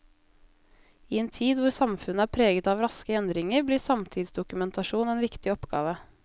I en tid hvor samfunnet er preget av raske endringer, blir samtidsdokumentasjon en viktig oppgave.